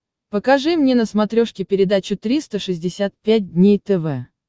покажи мне на смотрешке передачу триста шестьдесят пять дней тв